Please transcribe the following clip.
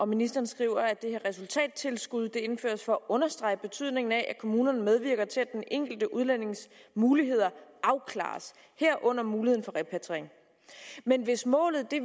ministeren skriver at det her resultattilskud indføres for at understrege betydningen af at kommunerne medvirker til at den enkelte udlændinges muligheder afklares herunder muligheden for repatriering men hvis målet